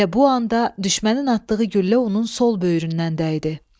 Elə bu anda düşmənin atdığı güllə onun sol böyrünə dəydi.